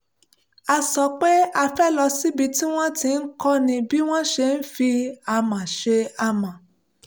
a sọ pé a fẹ́ lọ síbi tí wọ́n ti ń kọ́ni bí wọ́n ṣe ń fi amọ̀ ṣe amọ̀